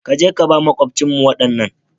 Ka je ka ba maƙwabcinmu waɗannan.